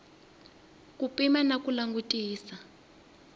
ku pima na ku langutisisa